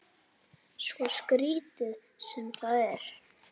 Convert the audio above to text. Svo skrítið sem það er.